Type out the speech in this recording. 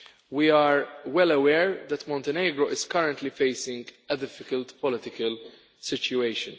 We are well aware that Montenegro is currently facing a difficult political situation.